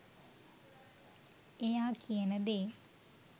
එයා කියන දේ